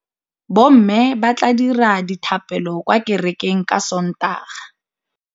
Bommê ba tla dira dithapêlô kwa kerekeng ka Sontaga.